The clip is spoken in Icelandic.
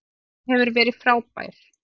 Hann hefur verið frábær.